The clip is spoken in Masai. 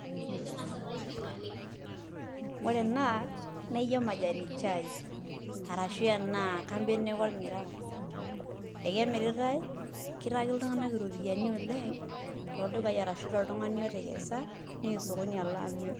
Ore enaa naa ijio majani chai arashu enaa kajo neeku ormiraa ekemiritai kitaki iltung'anak iropiyianai oleng' toldukai arashu toltung'ani otekesa neya osokoni alo amirr.